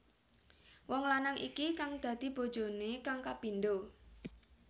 Wong lanang iki kang dadi bojoné kang kapindho